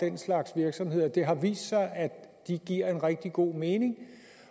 den slags virksomheder det har vist sig at de giver rigtig god mening